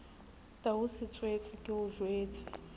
tau setswetse ke o jwetse